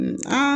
Aa